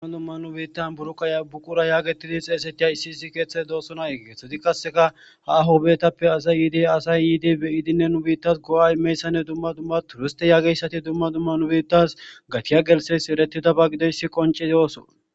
dumma dumma nubiittan buru qaya buqura yaagetidi xeesetiya issi issi keeththeti doossona eggeethodi kasseka ha ahobeetappe asay yiidi asay yidi beyidinne nubiittas go7aay meyssanne dumma dumma turiste yaageyssati dumma dumma nubiittas gatiya gelses erettida ba gideyssi qoncedi ooso